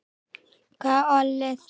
Hvað olli því?